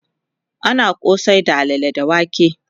ana kosai da alalle da wake